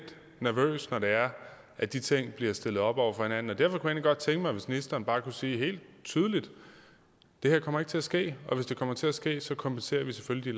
nervøs når det er at de ting bliver stillet op over for hinanden derfor kunne jeg egentlig godt tænke mig at ministeren bare kunne sige helt tydeligt det her kommer ikke til at ske og hvis det kommer til at ske kompenserer vi selvfølgelig